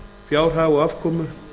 fjárhag og afkomu